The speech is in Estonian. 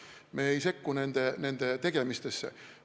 Me ei sekku nende tegemistesse.